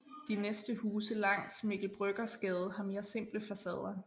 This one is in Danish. De næste huse langs Mikkel Bryggers Gade har mere simple facader